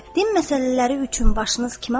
Din məsələləri üçün başınız kimə bağlıdır?